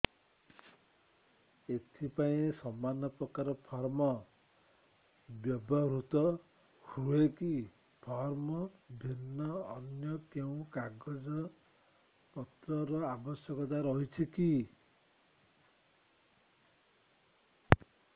ଏଥିପାଇଁ ସମାନପ୍ରକାର ଫର୍ମ ବ୍ୟବହୃତ ହୂଏକି ଫର୍ମ ଭିନ୍ନ ଅନ୍ୟ କେଉଁ କାଗଜପତ୍ରର ଆବଶ୍ୟକତା ରହିଛିକି